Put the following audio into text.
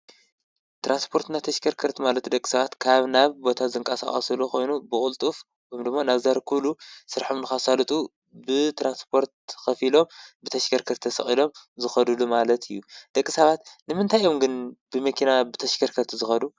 ተራንስጶርትና ተሽከርከርት ማለት ደቂ ሰባት ካብ ናብ ቦታ ዘንቃሣስሉ ኾይኑ ብቕልጡፍ ውምድሞ ናብዛር ኲሉ ሥርሕምኑኻሳልጡ ብትራንስጶርት ኽፊሎም ብተሽከርከርተሰዒሎም ዝኸዱሉ ማለት እዩ ደቂ ሳባት ንምንታይ ዮምግን ብምኪና ብተሽከርከርት ዝኸዱ።